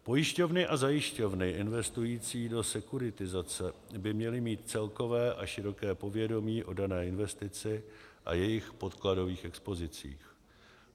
Pojišťovny a zajišťovny investující do sekuritizace by měly mít celkové a široké povědomí o dané investici a jejích podkladových expozicích.